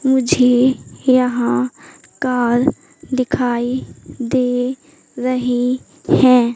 मुझे यहां कार दिखाई दे रही है।